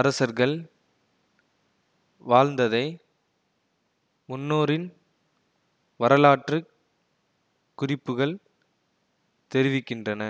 அரசர்கள் வாழ்ந்ததை முன்னோரின் வரலாற்று குறிப்புகள் தெரிவிக்கின்றன